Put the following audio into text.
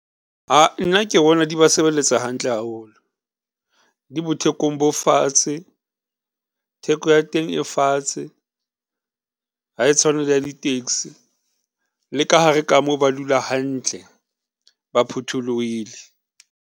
Nna ke bona di ba sebeletsa hantle haholo, di thekong fatshe. Theko ya teng e fatshe ha e tshwane le ya di taxi le ka hare ka moo ba dula hantle, ba phutholohile.